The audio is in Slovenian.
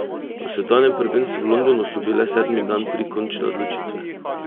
Na svetovnem prvenstvu v Londonu so bile sedmi dan tri končne odločitve.